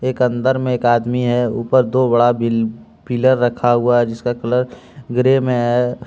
एक अंदर में एक आदमी है ऊपर दो बड़ा बी पिलर रखा हुआ हैं जिसका कलर ग्रे में है।